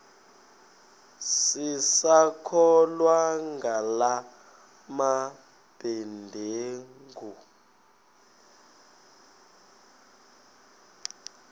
sisakholwa ngala mabedengu